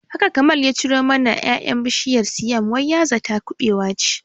Haka Kamal ya ciro mana ƴaƴan bishiyar siam wai ya zata kubewa ce